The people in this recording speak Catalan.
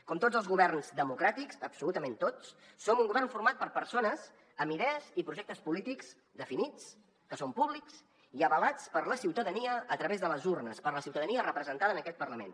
com tots els governs democràtics absolutament tots som un govern format per persones amb idees i projectes polítics definits que són públics i avalats per la ciutadania a través de les urnes per la ciutadania representada en aquest parlament